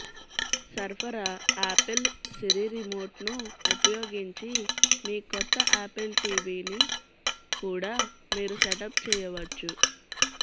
సరఫరా Apple Siri రిమోట్ను ఉపయోగించి మీ కొత్త ఆపిల్ టీవీని కూడా మీరు సెటప్ చేయవచ్చు